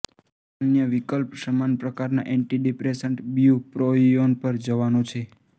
અન્ય વિકલ્પ સમાન પ્રકારના એન્ટીડિપ્રેસન્ટ બ્યુપ્રોપિયોન પર જવાનો છે